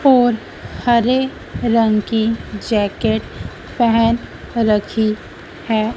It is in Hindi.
और हरे रंग की जॅकेट पहन रखी है।